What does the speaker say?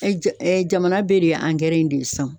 Jamana bɛ de ye in de ye san